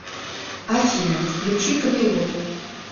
афина включи камелот